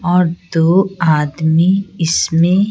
और दो आदमी इसमें --